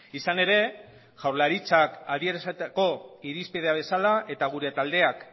izan ere jaurlaritzak adierazitako irizpidea bezala eta gure taldeak